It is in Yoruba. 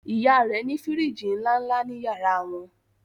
ìyá rẹ ní firiji nlánlá ní yàrá wọn